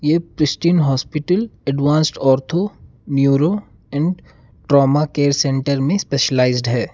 ये pristine hospital advanced ortho neuro and trauma care centre में specialised है।